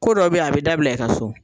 Ko dɔw be ye a bɛ dabila i ka so.